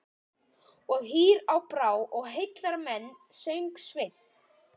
Og hýr á brá og heillar menn, söng Sveinn.